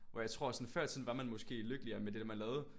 Hvor jeg tror at sådan før i tiden var man måske lykkeligere med det man lavede